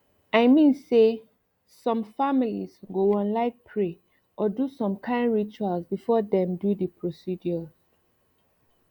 i mean say some mean say some families go wan like pray or do some kain rituals before dem do the procedures